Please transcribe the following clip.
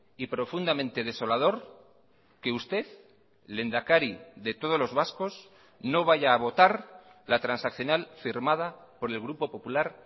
y profundamente desolador que usted lehendakari de todos los vascos no vaya a votar la transaccional firmada por el grupo popular